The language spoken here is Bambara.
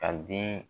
Ka den